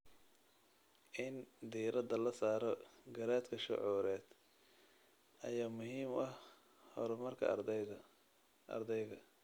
In diirada la saaro garaadka shucuureed ayaa muhiim u ah horumarka ardayga.